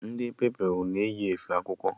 Ndị Pupilụ na-enwe efe akwụkwọ.